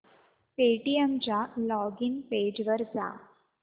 Paytm च्या login page वर जा